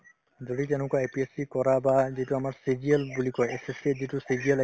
যদি তেনেকুৱা APSC কৰা বা যিটো আমাৰ CGL বুলি কই SSC ত যিটো CGL